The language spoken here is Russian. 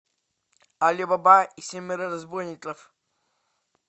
али баба и семеро разбойников